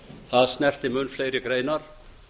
það snerti mun fleiri greinar